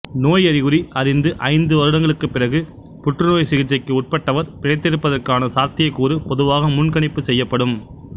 நோய் அறிகுறி அறிந்து ஐந்து வருடங்களுக்குப்பிறகு புற்ருநோய்ச் சிகிச்சைக்கு உட்பட்டவர் பிழைத்திருப்பதற்கான சாத்தியக்கூறு பொதுவாக முன்கணிப்பு செய்யப்படும்